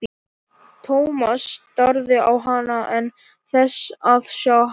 Thomas starði á hann án þess að sjá hann.